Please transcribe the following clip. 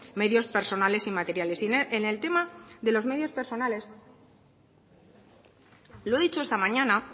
medios personales y materiales en el tema de los medios personales lo he dicho esta mañana